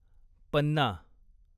पन्ना